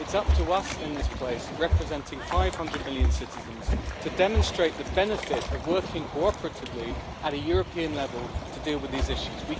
It is up to us in this place, representing 500 million citizens, to demonstrate the benefit of working cooperatively at a European level to deal with these issues.